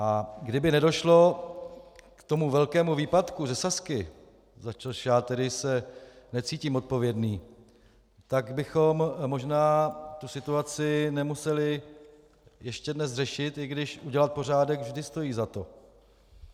A kdyby nedošlo k tomu velkému výpadku ze Sazky, za což já tedy se necítím odpovědný, tak bychom možná tu situaci nemuseli ještě dnes řešit, i když udělat pořádek vždy stojí za to.